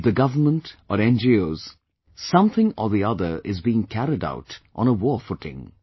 Be it the Government or NGOs, something or the other is being carried out on a war footing